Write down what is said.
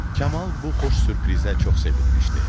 Kamal bu xoş sürprizə çox sevinmişdi.